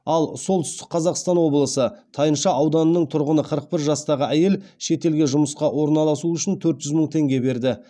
ал солтүстік қазақстан облысы тайынша ауданының тұрғыны қырық бір жастағы әйел шетелге жұмысқа орналасу үшін төрт жүз мың теңге берді